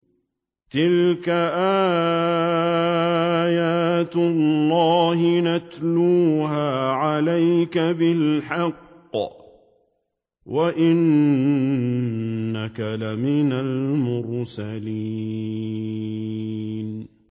تِلْكَ آيَاتُ اللَّهِ نَتْلُوهَا عَلَيْكَ بِالْحَقِّ ۚ وَإِنَّكَ لَمِنَ الْمُرْسَلِينَ